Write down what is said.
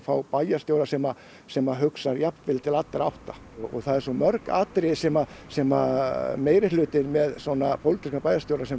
bæjarstjóra sem sem hugsar jafnvel til allra átta það eru mörg atriði sem sem meirihlutinn með svo pólitískan bæjarstjóra sem